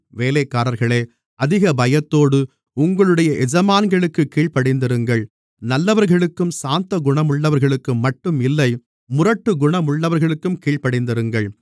வேலைக்காரர்களே அதிக பயத்தோடு உங்களுடைய எஜமான்களுக்குக் கீழ்ப்படிந்திருங்கள் நல்லவர்களுக்கும் சாந்தகுணமுள்ளவர்களுக்கும்மட்டும் இல்லை முரட்டுக்குணமுள்ளவர்களுக்கும் கீழ்ப்படிந்திருங்கள்